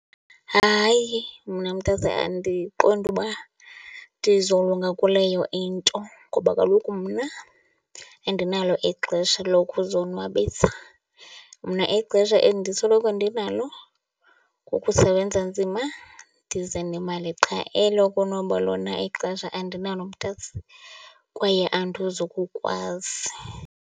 Hayi, mna mntase andiqondi uba ndizolunga kuleyo into ngoba kaloku mna andinalo ixesha lokuzonwabisa. Mna ixesha endisoloko ndinalo kukusebenza nzima, ndize nemali qha. Elokonwaba lona ixesha andinalo mntase kwaye andizokukwazi.